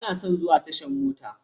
Bana son zuwa tashar mota.